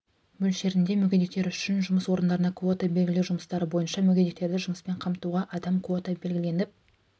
мөлшерінде мүгедектер үшін жұмыс орындарына квота белгілеу жұмыстары бойынша мүгедектерді жұмыспен қамтуға адам квота белгіленіп